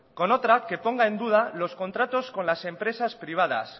con otra que ponga en duda los contratos con las empresas privadas